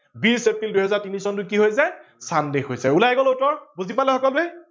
বিছ এপ্ৰিল দুহেজাৰ তিনি চটো কি হৈ যায় sunday হৈ যায়। উলাই গল এইটো বুজি পালে সকলোৱে